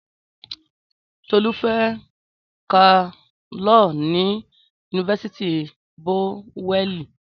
Tọlu fẹ kà liọ ní unifásitì Bowẹni.